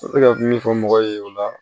N bɛ se ka min fɔ mɔgɔw ye o la